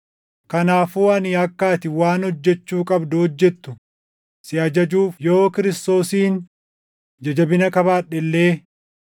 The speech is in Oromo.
Kanaafuu ani akka ati waan hojjechuu qabdu hojjetu si ajajuuf yoo Kiristoosiin ija jabina qabaadhe illee,